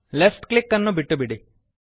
left click ಅನ್ನು ಬಿಟ್ಟುಬಿಡಿ